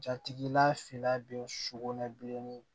Jatigila fila bɛ sugunɛ bilenni